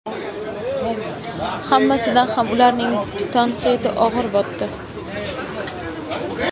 Hammasidan ham ularning tanqidi og‘ir botdi.